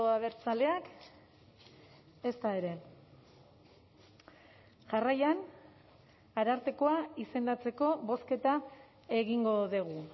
abertzaleak ezta ere jarraian arartekoa izendatzeko bozketa egingo dugu